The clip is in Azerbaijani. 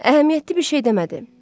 Əhəmiyyətli bir şey demədi.